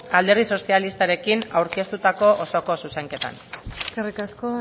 alderdi sozialistarekin aurkeztutako osoko zuzenketan eskerrik asko